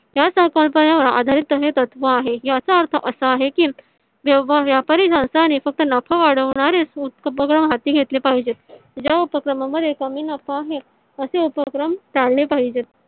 या संकल्पनेवर आधारित तसे तत्व आहे. याचा अर्थ असा आहे. की व्यवहार व्यापारी संस्थाने फक्त नफा वाढवणरे उपक्रम हाती घेतले पाहिजे या उपक्रम मध्ये कमी नफा हे असे उपक्रम टाळले पाहिजे.